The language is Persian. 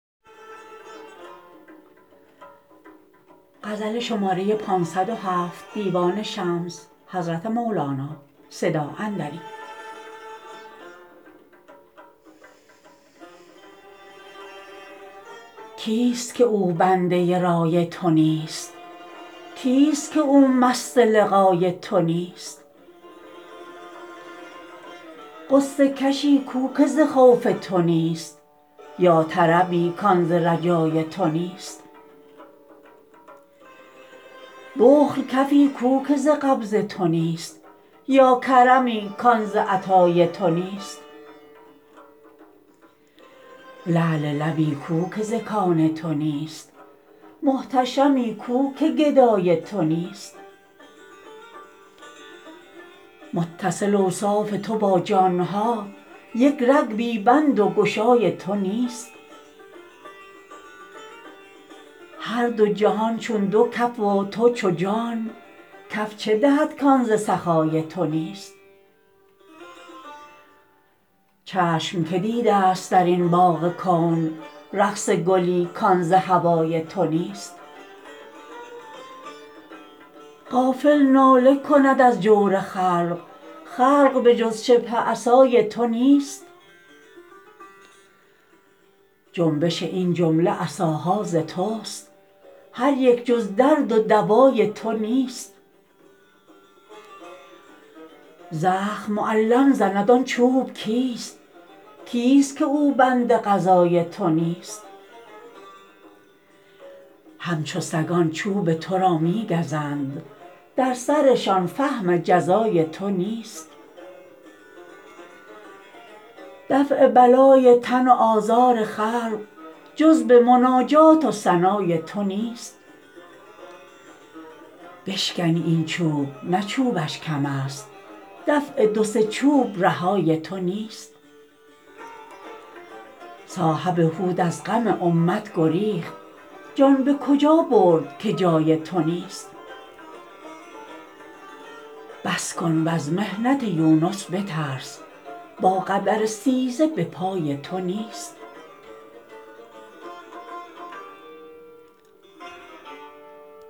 کیست که او بنده رای تو نیست کیست که او مست لقای تو نیست غصه کشی کو که ز خوف تو نیست یا طربی کان ز رجای تو نیست بخل کفی کو که ز قبض تو نیست یا کرمی کان ز عطای تو نیست لعل لبی کو که ز کان تو نیست محتشمی کو که گدای تو نیست متصل اوصاف تو با جان ها یک رگ بی بند و گشای تو نیست هر دو جهان چون دو کف و تو چو جان کف چه دهد کان ز سخای تو نیست چشم کی دیدست در این باغ کون رقص گلی کان ز هوای تو نیست غافل ناله کند از جور خلق خلق به جز شبه عصای تو نیست جنبش این جمله عصاها ز توست هر یک جز درد و دوای تو نیست زخم معلم زند آن چوب کیست کیست که او بند قضای تو نیست همچو سگان چوب تو را می گزند در سرشان فهم جزای تو نیست دفع بلای تن و آزار خلق جز به مناجات و ثنای تو نیست بشکنی این چوب نه چوبش کمست دفع دو سه چوب رهای تو نیست صاحب حوت از غم امت گریخت جان به کجا برد که جای تو نیست بس کن وز محنت یونس بترس با قدر استیزه به پای تو نیست